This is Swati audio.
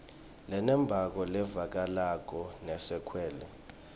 lenembako levakalako lesekelwe